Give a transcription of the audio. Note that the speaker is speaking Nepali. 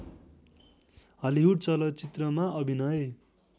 हलिवुड चलचित्रमा अभिनय